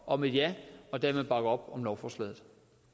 om et ja og dermed bakker op om lovforslaget